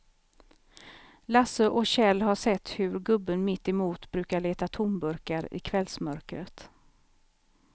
Lasse och Kjell har sett hur gubben mittemot brukar leta tomburkar i kvällsmörkret.